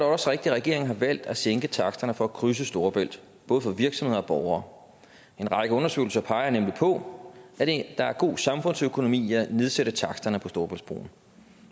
også rigtigt at regeringen har valgt at sænke taksterne for at krydse storebælt både for virksomheder og borgere en række undersøgelser peger nemlig på at der er god samfundsøkonomi i at nedsætte taksterne på storebæltsbroen